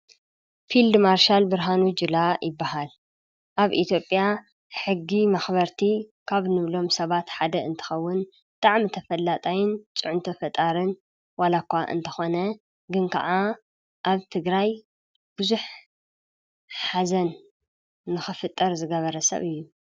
ፊልድ ማሪሻል ብርሃኑ ጅላ ይበሃል። ኣብ ኢትዮጵያ ሕጊ መክበርቲ ካብ እንብሎም ሰባት ሓደ እንትኸውን ብጣዕሚ ተፈላጣይን ፅዕንቶ ፈጣርን ዋላ እኳ እንተኾነ ግን ከዓ ኣብ ትግራይ ብዙሕ ሓዘን ንክፍጠር ዝገበረ ሰብ ኣዩ።